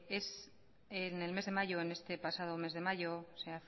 es en el mes de mayo en este pasado mes de mayo se